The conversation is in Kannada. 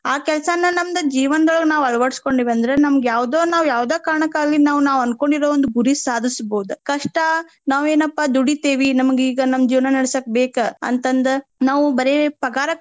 ಆ ಕೆಲ್ಸಾನ ನಮ್ದ ಜೀವನ್ದೋಳಗ್ ನಾವ್ ಅಳವಡಿಸ್ಕೊಂಡೇವ ಅಂದ್ರ ನಮ್ಗ ಯಾವ್ದೊ ನಾವ್ ಯಾವ್ದ ಕಾರಣಕ್ಕಾಗ್ಲಿ ನಾವ್ ನಾವ್ ಅನ್ಕೋಂಡಿರೊ ಒಂದ್ ಗುರಿ ಸಾಧಸ್ಬಹುದ್. ಕಷ್ಟ ನಾವೇನಪ್ಪಾ ದುಡಿತೇವಿ ನಮ್ಗ್ ಈಗ ನಮ್ಮ ಜೀವನಾ ನಡಸಾಕ್ ಬೇಕ ಅಂತಂದ ನಾವು ಬರೆ ಪಗಾರಕ್ಕಾಗಿ.